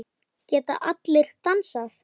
Geta allir dansað?